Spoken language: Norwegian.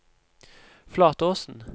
Flatåsen